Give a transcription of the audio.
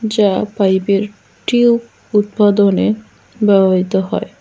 যা পাইপের টিউব উৎপাদনে ব্যবহৃত হয়।